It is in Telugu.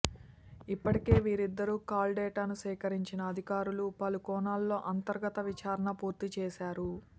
ఇప్పటికే వీరిద్దరి కాల్ డేటాను సేకరించిన అధికారులు పలు కోణాల్లో అంతర్గత విచారణ పూర్తి చేశారు